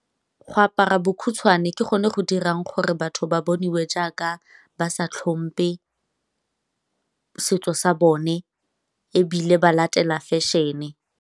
Go apara bokhutshwane ke gone go dirang gore batho ba boniwe jaaka ba sa tlhompe setso sa bone ebile ba latela fashion-e.